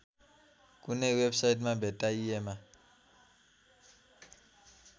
कुनै वेबसाइटमा भेट्टाइएमा